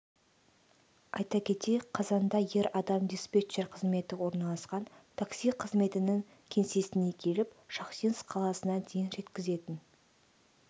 айта кетейік қазанда ер адам диспетчер қызметі орналасқан такси қызметінің кеңсесіне келіп шахтинск қаласына дейін жеткізетін